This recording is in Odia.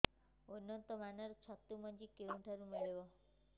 ଉନ୍ନତ ମାନର ଛତୁ ମଞ୍ଜି କେଉଁ ଠାରୁ ମିଳିବ